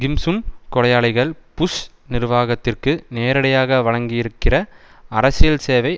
கிம் Sun கொலையாளிகள் Bush நிர்வாகத்திற்கு நேரடியாக வழங்கியிருக்கிற அரசியல் சேவை